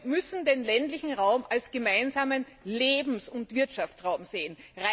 Und wir müssen den ländlichen Raum als gemeinsamen Lebens und Wirtschaftsraum sehen.